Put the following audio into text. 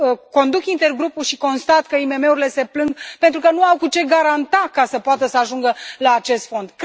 Conduc intergrupul și constat că IMM urile se plâng pentru că nu au cu ce garanta ca să poată să ajungă la acest fond.